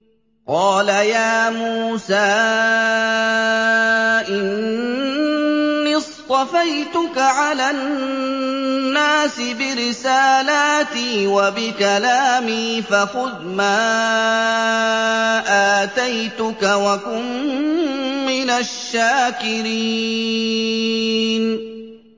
قَالَ يَا مُوسَىٰ إِنِّي اصْطَفَيْتُكَ عَلَى النَّاسِ بِرِسَالَاتِي وَبِكَلَامِي فَخُذْ مَا آتَيْتُكَ وَكُن مِّنَ الشَّاكِرِينَ